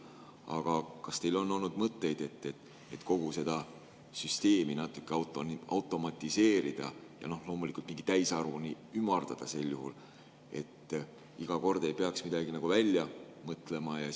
Aga kas teil on olnud mõtteid, et kogu seda süsteemi natuke automatiseerida ja loomulikult mingi täisarvuni ümardada sel juhul, et iga kord ei peaks midagi välja mõtlema?